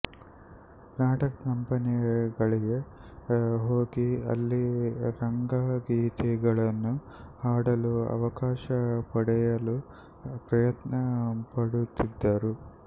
ನಾಟಕ ಕಂಪನಿಗಳಿಗೆ ಹೋಗಿ ಅಲ್ಲಿ ರಂಗಗೀತೆಗಳನ್ನು ಹಾಡಲು ಅವಕಾಶ ಪಡೆಯಲು ಪ್ರಯತ್ನಪಡುತ್ತಿದ್ದರು